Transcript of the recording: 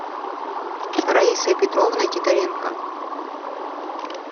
раисой петровной титаренко